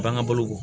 F'an ka balo